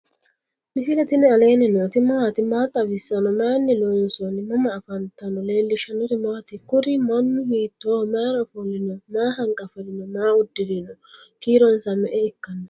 misile tini alenni nooti maati? maa xawissanno? Maayinni loonisoonni? mama affanttanno? leelishanori maati? kuuri manu hiitoho? maayira offolino? maa hanqafirino? maa uddirino? kiironsa me"e ikkano?